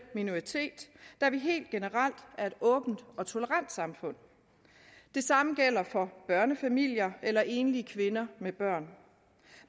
minoritet da vi helt generelt er et åbent og tolerant samfund det samme gælder for børnefamilier eller enlige kvinder med børn